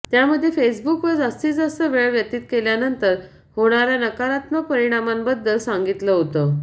त्यामध्ये फेसबुकवर जास्तीत जास्त वेळ व्यतीत केल्यानंतर होणाऱ्या नकारात्मक परिणामांबद्दल सांगितलं होतं